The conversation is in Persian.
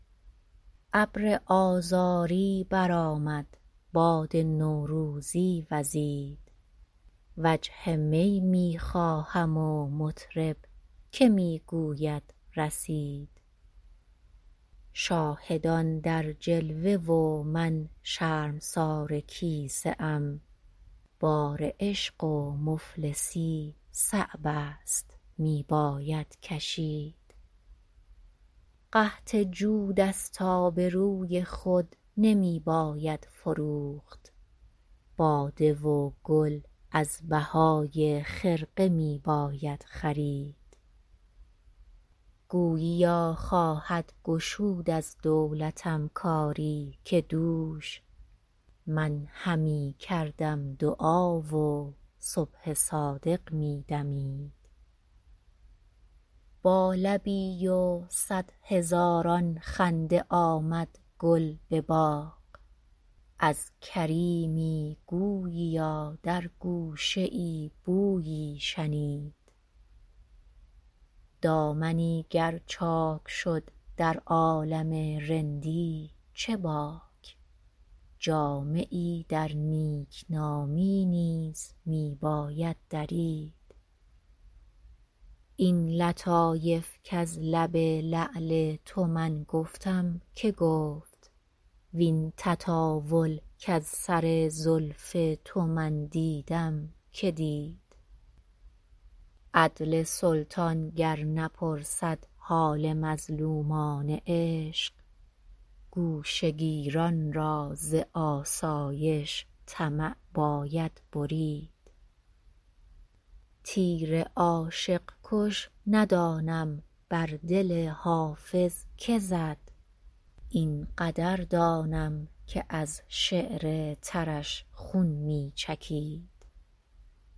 ابر آذاری برآمد باد نوروزی وزید وجه می می خواهم و مطرب که می گوید رسید شاهدان در جلوه و من شرمسار کیسه ام بار عشق و مفلسی صعب است می باید کشید قحط جود است آبروی خود نمی باید فروخت باده و گل از بهای خرقه می باید خرید گوییا خواهد گشود از دولتم کاری که دوش من همی کردم دعا و صبح صادق می دمید با لبی و صد هزاران خنده آمد گل به باغ از کریمی گوییا در گوشه ای بویی شنید دامنی گر چاک شد در عالم رندی چه باک جامه ای در نیکنامی نیز می باید درید این لطایف کز لب لعل تو من گفتم که گفت وین تطاول کز سر زلف تو من دیدم که دید عدل سلطان گر نپرسد حال مظلومان عشق گوشه گیران را ز آسایش طمع باید برید تیر عاشق کش ندانم بر دل حافظ که زد این قدر دانم که از شعر ترش خون می چکید